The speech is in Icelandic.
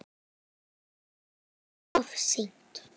En of seint?